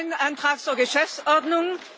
Das ist kein Antrag zur Geschäftsordnung.